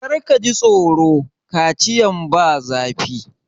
Kar ka ji tsoro! Kaciyan ba zafi.